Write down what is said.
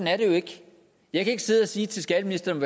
er det jo ikke jeg kan ikke sidde og sige til skatteministeren